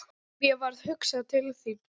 Hann kemur þér strax að.